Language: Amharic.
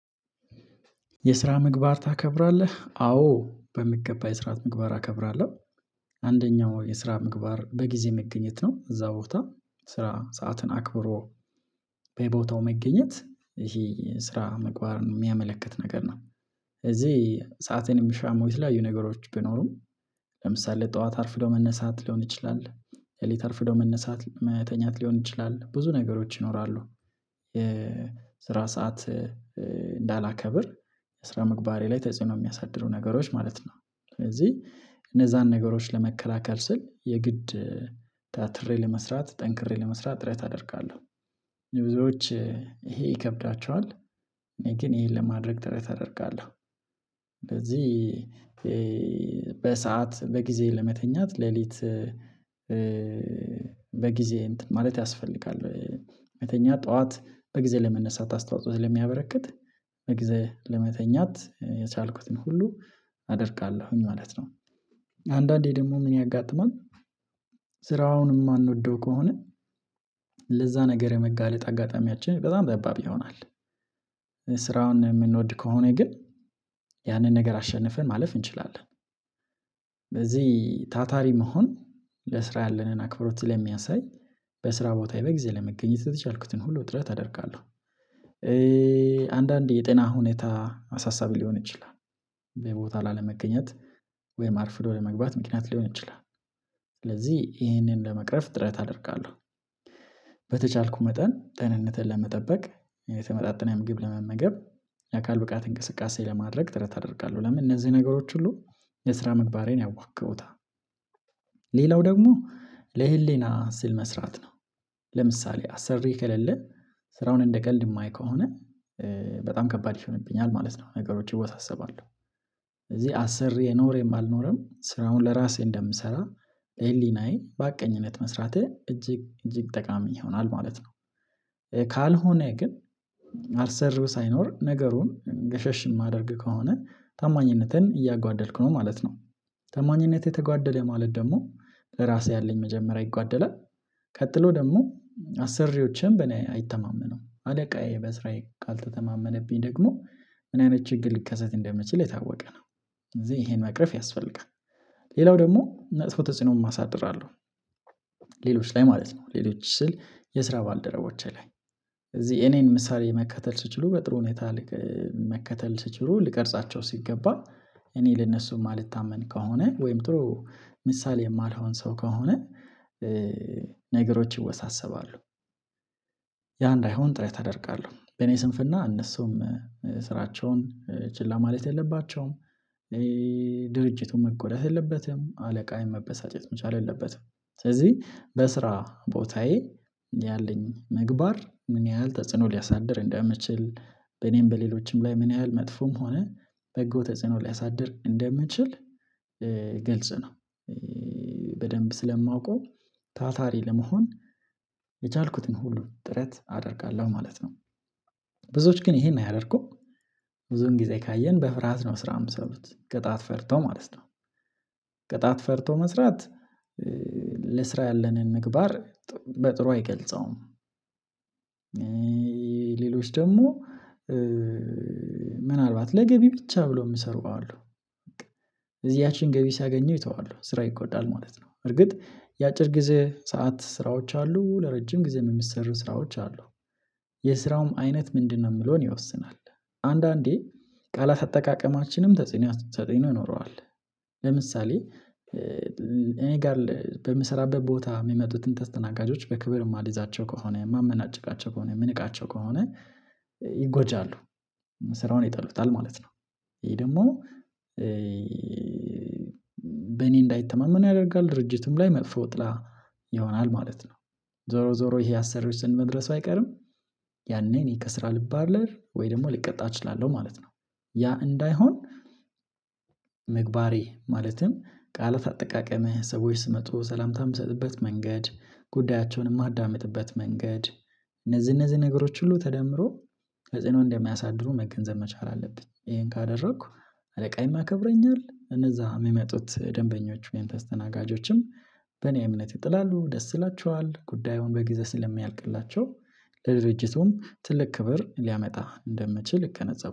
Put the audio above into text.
የስራ ምግባር ታከብራለህ? አዎ በሚገባ የስራ ምግባር አከብራለሁ። አንደኛው የስራ ምግባር በጊዜ መገኘት ነው እዛ ቦታ ስራ ሰዓትን አክብሮ በቦታው መገኘት ይሄ ስራ ምግባር የሚያመለክት ነገር ነው። ስለዚህ ሰአቴን የሚሻሙ የተለያዩ ነገሮች ቢኖሩም። ለምሳሌ ጠዋት አርፍዶ መነሳት ሊሆን ይችላል ሌሊት አርፍዶ መነሳት መተኛት ሊሆን ይችላል ብዙ ነገሮች ይኖራሉ። የስራ ሰዓት እንዳላከብር ስራ ምግባሬ ላይ ተጽዕኖ የሚያሳድሩ ነገሮች ማለት ነው። ስለዚህ እነዛን ነገሮች ለመከላከል ስል የግድ ታትሬ ለመስራት ጠንክሬ ለመስራት ጥረት አደርጋለሁ። የብዙዎች ይሄ ይከብዳቸዋል። እኔ ግን ይሄን ለማድረግ ጥረት አደርጋለሁ። እንደዚህ በሰአት በጊዜ ለመተኛት ሌሊት በጊዜ እንትን ማለት ያስፈልጋል። መተኛት ጠዋት በጊዜ ለመነሳት አስተዋጽኦ ስለሚያበረክት በጊዜ ለመተኛት የቻልኩትን ሁሉ አደርጋለሁኝ ማለት ነው። አንዳንዴ ደግሞ ምን ያጋጥማል? ስራውንም የማንወደው ከሆነ ለዛ ነገር የመጋለጥ አጋጣሚያችን በጣም ጠባብ ይሆናል። ስራውን የምንወድ ከሆነ ግን ያንን ነገር አሸንፈን ማለፍ እንችላለን። በዚህ ታታሪ መሆን ለስራ ያለንን አክብሮት ስለሚያሳይ በስራ ቦታዬ በጊዜ ለመገኘት የቻልኩትን ሁሉ ጥረት አደርጋለሁ። አንዳንዴ የጤና ሁኔታ አሳሳቢ ሊሆን ይችላል። ቦታ ላለመገኘት ወይም አርፍዶ ለመግባት ምክንያት ሊሆን ይችላል ይሄንን ለመቅረፍ ጥረት አደርጋለሁ። በተቻልኩ መጠን ጤንነትን ለመጠበቅ የተመጣጠነ ምግብ ለመመገብ የአካል ብቃት እንቅስቃሴ ለማድረግ ጥረት አደርጋለሁ። ለምን እነዚህ ነገሮች ሁሉ የስራ ምግባሬን ያዋቅሩታል። ሌላው ደግሞ ለህሊና ስል መስራት ነው። ለምሳሌ አሰሪ ከሌለን ስራውን እንደቀልድ የማይ ከሆነ በጣም ከባድ ይሆንብኛል ማለት ነው ነገሮች ይወሳሰባሉ። ስለዚህ አሰርዬ ኖረም አልልኖረም ስራውን ለራሴ እንደምሰራ በሀቀኝነት መስራቴ እጅግ እጅግ ጠቃሚ ይሆናል ማለት ነው። ካልሆነ ግን አሰሪው ሳይኖር ነገሩን ገሸሽ ማደረግ ከሆነ ታማኝነቴን እያጓደልኩ ነው ማለት ነው። ታማኝነት የተጓደለ ማለት ደግሞ ለራሴ ያለኝ መጀመሪያ ይጓደላል። ቀጥሎ ደግሞ አሰሪዎችን በእኔ አይተማመነውም አለቃዬ በስራዬ ካልተተማመነብኝ ደግሞ ምን አይነት ችግር ሊከሰት እንደሚችል የታወቀ ነው። ስለዚህ ይሄን መቅረፍ ያስፈልጋል። ሌላው ደግሞ መጥፎ ተጽዕኖም አሳድራለሁ። ሌሎች ላይ ማለት ነው ሌሎች ስል የስራ ባልደረቦቼ ላይ እዚህ እኔን ምሳሌ መከተል ሲችሉ በጥሩ ሁኔታ መከተል ሲችሉ ልቀርጻቸው ሲገባ እኔ ለነሱም ማልታመን ከሆነ ወይም ጥሩ ምሳሌ የማልሆን ሰው ከሆነ ነገሮች ይወሳሰባሉ። ያ እንዳይሆን ጥረት አደርጋለሁ በኔ ስንፍና እነሱም ስራቸውን ችላ ማለት የለባቸውም። ድርጅቱን መጎዳት የለበትም አለቃዬ መበሳጨት መቻል የለበትም። ስለዚህ በስራ ቦታዬ ያለኝ ምግባር ምን ያህል ተጽዕኖ ሊያሳድር እንደሚችል በኔም በሌሎችም ላይ ምን ያህል መጥፎም ሆነ በጎ ተጽዕኖ ሊያሳድር እንደሚችል። ግልጽ ነው። በደንብ ስለማውቀው ታታሪ ለመሆን የቻልኩትን ሁሉ ጥረት አደርጋለሁ ማለት ነው። ብዙዎች ግን ይሄን አያደርጉም። ብዙን ጊዜ ካየን በፍርሃት ነው ስራ የሚሰሩት ቅጣት ፈርተው ማለት ነው። ቅጣት ፈርቶ መስራት ለስራ ያለንን ምግባር በጥሩ አይገልጸውም። ሌሎች ደግሞ ምናልባት ለገቢ ብቻ ብሎ የሚሰሩ አሉ። እዚያችን ገቢ ሲያገኙ ይተዋሉ ስራ ይጎዳል ማለት ነው እርግጥ የአጭር ጊዜ ሰዓት ስራዎች አሉ ለረጅም ጊዜ የሚሰሩ ስራዎች አሉ። የስራውም አይነት ምንድነው? የሚለውን ይወስናል። አንዳንዴ ቃላት አጠቃቀማችንም ተጽዕኖ ተጽዕኖ ይኖረዋል። ለምሳሌ እኔ ጋር በምሰራበት ቦታ የሚመጡትን ተስተናጋጆች በክብር የማልይዛቸው ከሆነ ማመናጭቃቸው ከሆነ ምንቃቸው ከሆነ ይጎጃሉ ስራውን ይጠሉታል ማለት ነው። ይሄ ደግሞ በኔ እንዳይተማመኑ ያደርጋል። ድርጅቱም ላይ መጥፎ ጥላ ይሆናል ማለት ነው። ዞሮ ዞሮ ይሄ አሰሪዎች ስር መድረሱ አይቀርም። ያኔ እኔ ከስራ ልባረር ወይ ደግሞ ልቀጣ እችላለሁ ማለት ነው። ያ እንዳይሆን ምግባሬ ማለትም ቃላት አጠቃቀምህ ሰዎች ሲመጡ ሰላምታም የምሰጥበት መንገድ ጉዳያቸውን የማዳምጥበት መንገድ እነዚህ እነዚህ ነገሮች ሁሉ ተደምሮ ተጽዕኖ እንደሚያሳድሩ መገንዘብ መቻል አለብኝ። ይሄን ካደረኩ አለቃዬም ያከብረኛል እነዛ የሚመጡት ደንበኞች ወይም ተስተናጋጆችም በእኔ እምነት ይጥላሉ ደስ ይላቸዋል ጉዳዩን በጊዜ ስለሚያልቅላቸው ለድርጅቱም ትልቅ ክብር ሊያመጣ እንደምችል እገነዘባለሁ